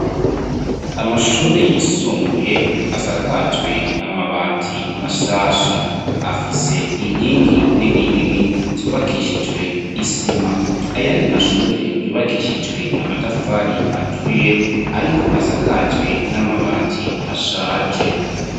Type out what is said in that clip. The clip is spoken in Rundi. Amashure yisumbuye ,asakajwe amabati mashasha, afise inkingi nini nini, zubakishijwe isima ,ayandi mashure yubakishijwe amatafari aturiye ,ariko asakajwe n'amabati ashaje.